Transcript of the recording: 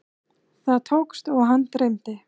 Það tókst og hann dreymdi.